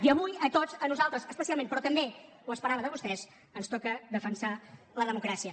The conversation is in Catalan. i avui a tots a nosaltres especialment però també ho esperava de vostès ens toca defensar la democràcia